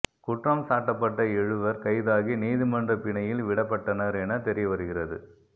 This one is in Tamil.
குற்றம்சாட்டப்பட்ட எழுவர் கைதாகி நீதிமன்றப் பிணையில் விடப்பட்டனர் என தெரியவருகிறது